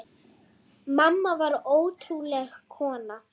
Mamma var ótrúleg kona.